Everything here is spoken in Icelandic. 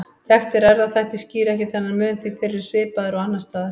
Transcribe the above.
Þekktir erfðaþættir skýra ekki þennan mun því þeir eru svipaðir og annars staðar.